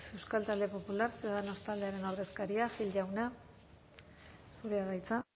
euskal talde popular ciudadanos taldearen ordezkaria gil jauna zurea da hitza